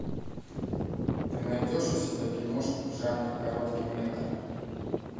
ты найдешь у себя киношку в жанре короткий метр